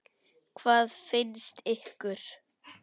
Hvað finnst ykkur?